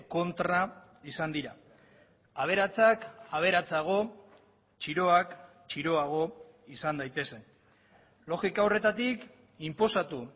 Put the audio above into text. kontra izan dira aberatsak aberatsago txiroak txiroago izan daitezen logika horretatik inposatu